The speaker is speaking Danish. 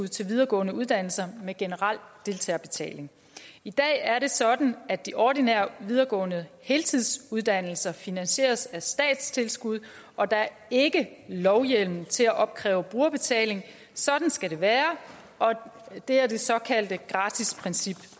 til videregående uddannelser med generel deltagerbetaling i dag er det sådan at de ordinære videregående heltidsuddannelser finansieres af statstilskud og der er ikke lovhjemmel til at opkræve brugerbetaling sådan skal det være det er det såkaldte gratisprincip og